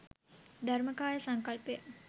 ධර්මකාය සංකල්පය